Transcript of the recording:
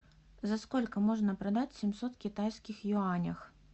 за сколько можно продать семьсот китайских юаней